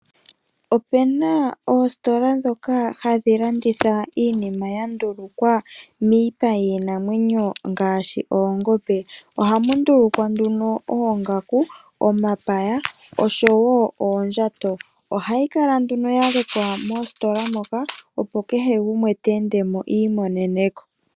Opuna oositola ndhoka hadhi landitha iinima ya ndulukwa miipa yiinamwenyo, ngaashi oongombe. Ohamu ndulukwa nduno oongaku, omapaya, oshowo oondjato. Ohayi kala nduno yalekwa mositola moka, opo kehe gumwe te endemo iimonene ko.